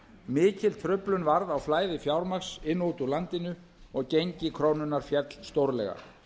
mikil truflun varð á flæði fjármagns inn og út úr landinu og gengi krónunnar féll stórlega